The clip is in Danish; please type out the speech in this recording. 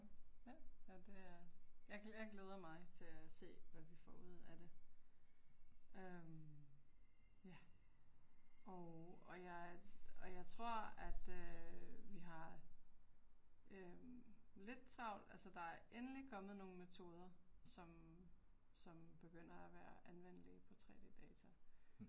Ja, jamen det er, jeg jeg glæder mig til at se, hvad vi får ud af det øh ja. Og og jeg og jeg tror at øh vi har øh lidt travlt. Altså der er endelig kommet nogle metoder som som begynder at være anvendelige på 3D-data